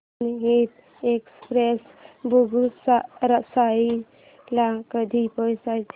जनहित एक्सप्रेस बेगूसराई ला कधी पोहचते